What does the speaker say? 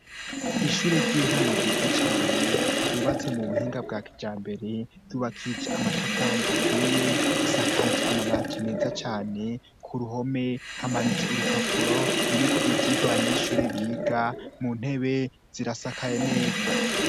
Ishure ry'intango ryiza cane ryubatse mu buhinga bwakijambere yubakije amatafari atuiye risakaje amabati meza cyane ku ruhome hamanitse urupapuro ruriko ivyigwa abanyeshure biga mu ntebe zirasakaye neza.